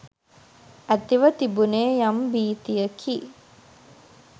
ඇතිව තිබුණේ යම් භීතියකි.